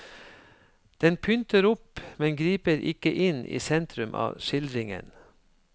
Den pynter opp, men griper ikke inn i sentrum av skildringen.